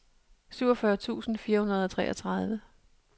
syvogfyrre tusind fire hundrede og treogtredive